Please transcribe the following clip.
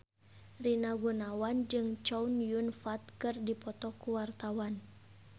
Rina Gunawan jeung Chow Yun Fat keur dipoto ku wartawan